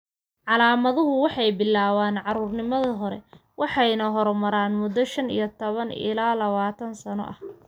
Calaamaduhu waxay bilaabaan caruurnimada hore waxayna horumaraan muddo shan iyo tobaan ilaa lawatan sano ah.